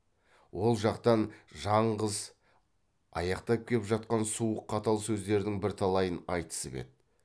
ол жақтан жаңғыз аяқтап кеп жатқан суық қатал сөздердің бірталайын айтысып еді